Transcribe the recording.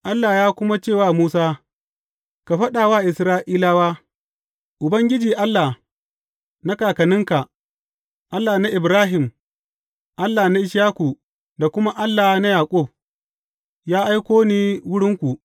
Allah ya kuma ce wa Musa, Ka faɗa wa Isra’ilawa, Ubangiji, Allah na kakanninka, Allah na Ibrahim, Allah na Ishaku da kuma Allah na Yaƙub, ya aiko ni wurinku.’